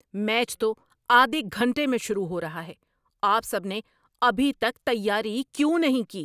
Match تو آدھے گھنٹے میں شروع ہو رہا ہے۔ آپ سب نے ابھی تک تیاری کیوں نہیں کی؟